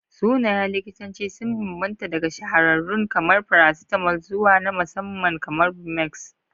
Sunayen likitanci sun bambanta daga shahararrun kamar paracetamol zuwa na musamman kamar bumex.